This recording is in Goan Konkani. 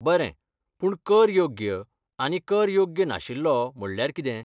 बरें, पूण 'कर योग्य' आनी 'कर योग्य नाशिल्लो' म्हणल्यार कितें?